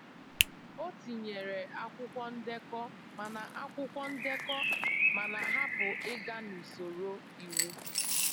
O tinyere akwụkwọ ndekọ mana akwụkwọ ndekọ mana hapụ ịga n'usoro iwu